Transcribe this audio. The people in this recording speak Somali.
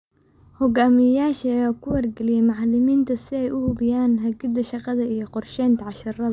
Hogaamiyayaasha ayaa ku wargaliyay macalimiinta si ay u hubiyaan hagida shaqada iyo qorsheynta casharrada.